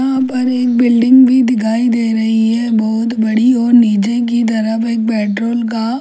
यहाँ पर एक बिल्डिंग भी दिखाई दे रही है बहुत बड़ी और नीचे की तरफ एक बेडरोल का अ --